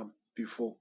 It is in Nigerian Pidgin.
am before